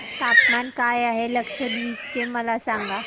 तापमान काय आहे लक्षद्वीप चे मला सांगा